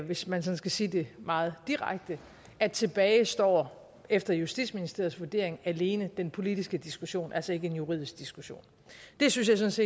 hvis man skal sige det meget direkte at tilbage står efter justitsministeriets vurdering alene den politiske diskussion og altså ikke en juridisk diskussion det synes